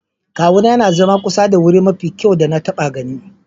Kawuna ya na zama kusa da wuri mafi kyau da na taba gani.